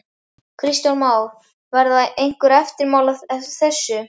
Kristján Már: Verða einhver eftirmál af þessu?